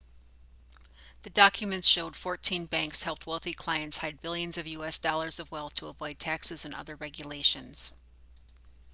the documents showed fourteen banks helped wealthy clients hide billions of us dollars of wealth to avoid taxes and other regulations